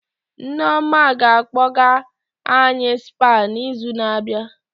Nneoma ga-akpọga any Spa na izu na abịa